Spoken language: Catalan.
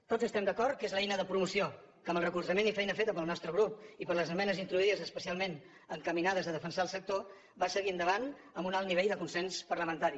tots estem d’acord que és l’eina de promoció que amb el recolzament i feina feta pel nostre grup i les esmenes introduïdes especialment encaminades a defensar el sector va seguir endavant amb un alt nivell de consens parlamentari